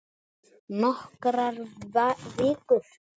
Nokkrar vínber